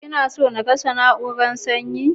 Kina so na kashe na'urar sanyin.